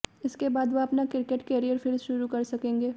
इसके बाद वह अपना क्रिकेट करियर फिर शुरू कर सकेंगे